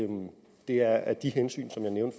det er af de hensyn